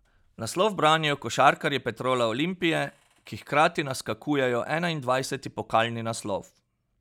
Naslov branijo košarkarji Petrola Olimpije, ki hkrati naskakujejo enaindvajseti pokalni naslov.